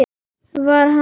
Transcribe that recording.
Var hann hérna?